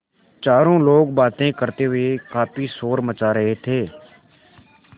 चारों लोग बातें करते हुए काफ़ी शोर मचा रहे थे